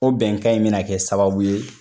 O bɛnkan in mina kɛ sababu ye